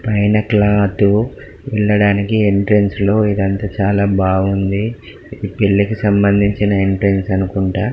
పైన క్లోత్ వెళ్లండనికి ఎంట్రన్స్ లో ఇదంతా చాల బాగుంది ఇది పెళ్ళికి సంబంచిన ఎంట్రన్స్ అనుకుంట.